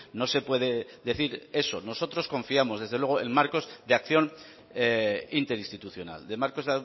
no se puede decir eso nosotros confiamos desde luego en marcos de acción interinstitucional de marcos